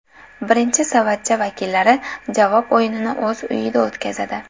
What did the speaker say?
Birinchi savatcha vakillari javob o‘yinini o‘z uyida o‘tkazadi.